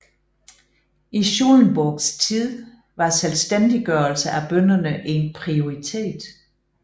I Schulenburgs tid var selvstændiggørelse af bønderne en prioritet